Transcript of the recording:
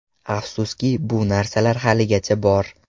Afsuski, bu narsa haligacha bor.